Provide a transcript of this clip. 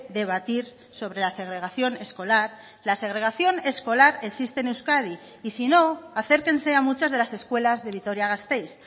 debatir sobre la segregación escolar la segregación escolar existe en euskadi y sino acérquense a muchas de las escuelas de vitoria gasteiz